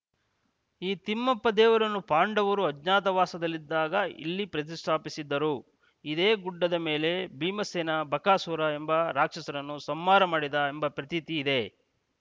ಈ ತಿಮ್ಮಪ್ಪ ದೇವರನ್ನು ಪಾಂಡವರು ಅಜ್ಞಾತವಾಸದಲ್ಲಿದ್ದಾಗ ಇಲ್ಲಿ ಪ್ರತಿಷ್ಠಾಪಿಸಿದ್ದರು ಇದೇ ಗುಡ್ಡದ ಮೇಲೆ ಭೀಮಸೇನ ಬಕಾಸುರ ಎಂಬ ರಾಕ್ಷಸರನ್ನು ಸಂಹಾರ ಮಾಡಿದ ಎಂಬ ಪ್ರತೀತಿ ಇದೆ